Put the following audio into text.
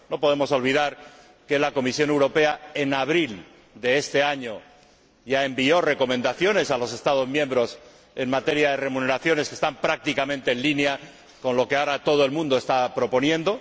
No podemos olvidar que la Comisión Europea, en abril de este año, ya envió recomendaciones a los Estados miembros en materia de remuneraciones que están prácticamente en línea con lo que ahora todo el mundo está proponiendo.